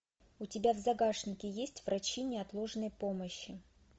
у тебя в загашнике есть врачи неотложной помощи